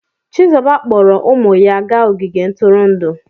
Chizuba kpọọrọ ụmụ ya gaa ogige ntụrụndụ.